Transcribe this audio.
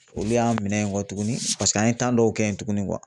Olu y'an minɛ kɔ tuguni paseke an ye dɔw kɛ yen tuguni